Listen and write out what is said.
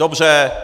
Dobře.